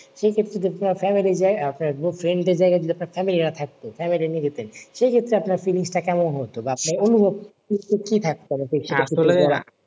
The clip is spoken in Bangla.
সেক্ষেত্রে যদি আপনার family যায় আপনার friend এর জায়গায় যদি আপনার family রা থাকতো family নিয়ে যেতেন সে ক্ষেত্রে আপনার feelings টা কেমন হতো বা আপনার অনুভূতি কি থাকতো